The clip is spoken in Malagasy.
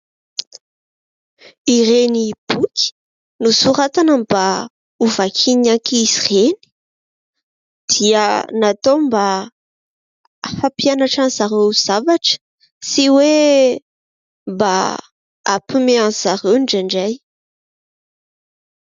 Ireny boky nosoratana mba ho vakian'ny ankizy ireny dia natao mba hampianatra an'izy ireo zavatra na koa hoe mba hampihomehy an'izy ireo indrindray.